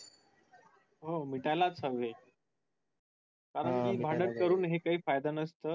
हो मिटायलाच हवे कारण कि भांडण करूनही काही फायदा नसतो